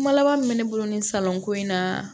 Kuma laban min bɛ ne bolo nin salonko in na